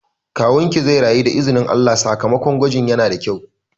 Kawunki zai rayu da izinin Allah, sakamakon gwajin yana da kyau